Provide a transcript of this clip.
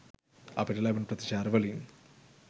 අපිට ලැබුණු ප්‍රතිචාර වලින්